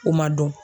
O ma dɔn